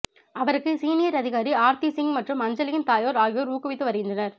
அவருக்கு சீனியர் அதிகாரி ஆர்த்தி சிங் மற்றும் அஞ்சலியின் தாயார் ஆகியோர் ஊக்குவித்து வருகின்றனர்